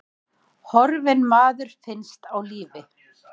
Horfinn maður finnst á lífi